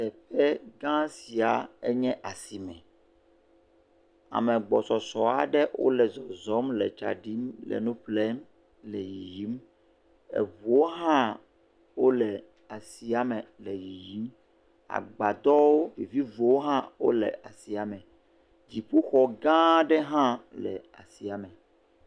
Teƒe gã sia nye asime. Ame gbɔsɔsɔ aɖewo le zɔzɔm le tsa ɖim le nu ƒlem le yiyim. Ŋuwo hã le asia me le yiyim. Agbadɔ viviwo hã le asia me. Dziƒoxɔ gã aɖe hã le asia me.